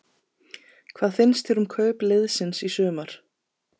Hvað finnst þér um kaup liðsins í sumar?